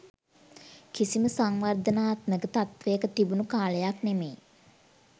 කිසිම සංවර්ධනාත්මක තත්ත්වයක තිබුණු කාලයක් නෙමේ.